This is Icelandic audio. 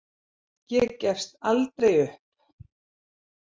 Ég gefst aldrei upp.